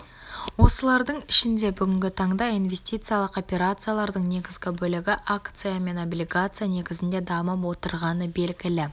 осылардың ішінде бүгінгі таңда инвестициялық операциялардың негізгі бөлігі акция мен облигация негізінде дамып отырғаны белгілі